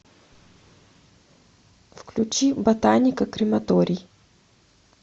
включи ботаника крематорий